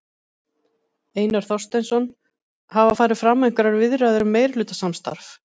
Einar Þorsteinsson: Hafa farið fram einhverjar viðræður um meirihlutasamstarf?